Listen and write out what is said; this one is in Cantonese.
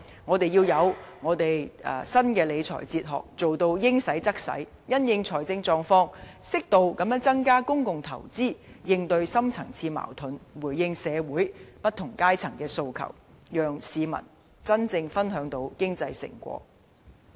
我們要有新的理財哲學，把錢用於刀口上，因應財政狀況，適度增加公共投資，應對深層次矛盾，回應社會不同階層的訴求，讓市民真正分享到經濟成果。